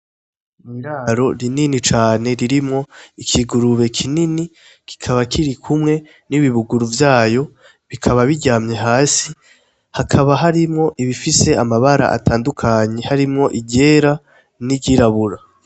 Iraro rinini cane ririmwo ikigurube kinini kikaba kirikumwe n' ibihuguru vyayo bikaba biryamye hasi hakaba harimwo ibifise amabara atandukanye harimwo iryera n' iryirabura.